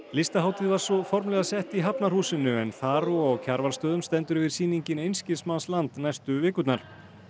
listahátíð var svo formlega sett í Hafnarhúsinu en þar og á Kjarvalsstöðum stendur yfir sýningin einskismannsland næstu vikurnar